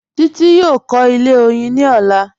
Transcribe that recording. Títí yóò kọ̀ ilẹ̀ oyin ní ọ̀lá